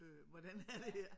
Øh hvordan er det her?